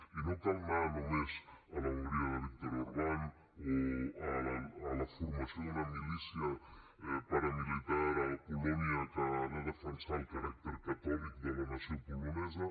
i no cal anar només a l’hongria de viktor orbán o a la formació d’una milícia paramilitar a polònia que ha de defensar el caràcter catòlic de la nació polonesa